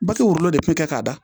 Baki wolo de bi kɛ k'a da